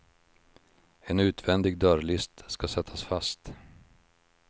En utvändig dörrlist ska sättas fast.